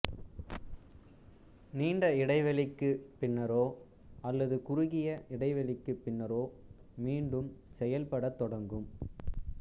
நீண்ட இடைவெளிக்குப் பின்னரோ அல்லது குறகிய இடைவெளிக்குப் பின்னரோ மீண்டும் செயல்படத் தொடங்கும்